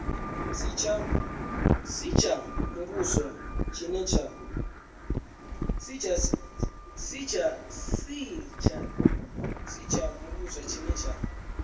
si tsha muvhuso tshine tsha